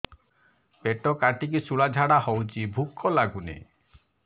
ପେଟ କାଟିକି ଶୂଳା ଝାଡ଼ା ହଉଚି ଭୁକ ଲାଗୁନି